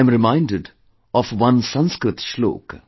I am reminded of one Sanskrit Shloka